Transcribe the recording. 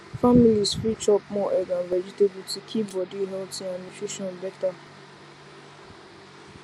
families fit chop more egg and vegetable to keep body healthy and nutrition better